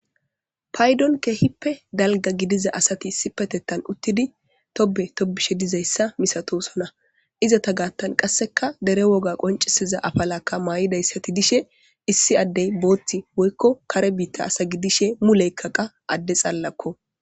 Paydon kehippe dalga gidiza asati issi petettan uttidi tobe tobishe dizayssa misatosona izata gaattan qasseka dere woga qoncisiza afalakka maa'idayssati dishe issi addey booththi woykko kare biitta asa gi dishe muleykkaqa adde xalalakko.